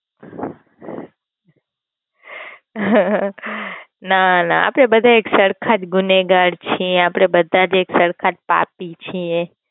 હ્હહહ, ના ના આપડે બધા એક સરખા જ ગુનેગાર છીએ આપડે બધા જ એક પાપી છીએ.